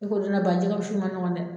I ko jɛgɛ wusu in man ɲɔgɔn dɛ.